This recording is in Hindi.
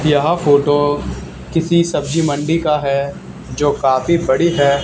यह फोटो किसी सब्जी मंडी का है जो काफी बड़ी है।